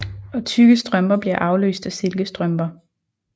Og tykke strømper bliver afløst af silkestrømper